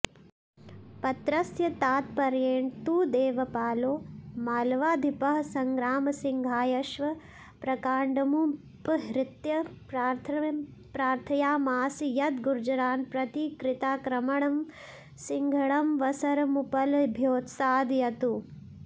पत्रस्य तात्पर्येण तु देवपालो मालवाधिपः संग्रामसिंहायाश्वप्रकाण्डमुपहृत्य प्रार्थयामास यद् गुर्जरान् प्रति कृताक्रमणं सिंहणमवसरमुपलभ्योत्सादयतु